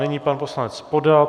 Nyní pan poslanec Podal.